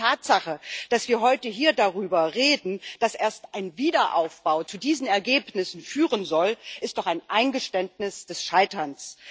Allein die Tatsache, dass wir heute hier darüber reden, dass erst ein Wiederaufbau zu diesen Ergebnissen führen soll, ist doch ein Eingeständnis des Scheiterns.